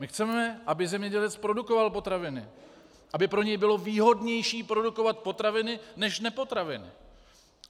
My chceme, aby zemědělec produkoval potraviny, aby pro něj bylo výhodnější produkovat potraviny než nepotraviny.